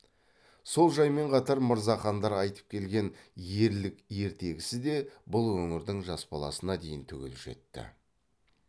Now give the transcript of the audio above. сол жаймен қатар мырзахандар айтып келген ерлік ертегісі де бұл өңірдің жас баласына дейін түгел жетті